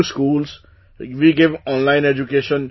We go to schools, we give online education